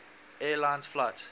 air lines flight